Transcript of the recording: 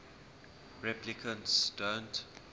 replicants don't